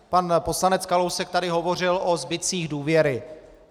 Pan poslanec Kalousek tady hovořil o zbytcích důvěry.